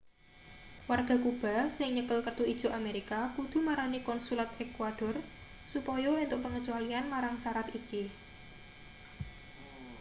warga kuba sing nyekel kertu ijo amerika kudu marani konsulat ekuador supaya entuk pengecualian marang sarat iki